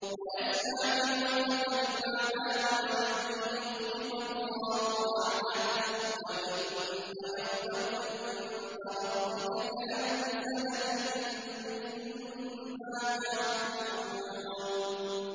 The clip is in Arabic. وَيَسْتَعْجِلُونَكَ بِالْعَذَابِ وَلَن يُخْلِفَ اللَّهُ وَعْدَهُ ۚ وَإِنَّ يَوْمًا عِندَ رَبِّكَ كَأَلْفِ سَنَةٍ مِّمَّا تَعُدُّونَ